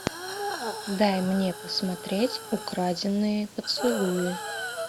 дай мне посмотреть украденные поцелуи